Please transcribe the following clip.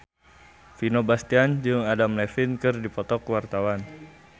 Vino Bastian jeung Adam Levine keur dipoto ku wartawan